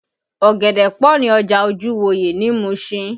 Ọ̀gẹ̀dẹ̀ pọ ní ọjà Ojuwoye ní Musin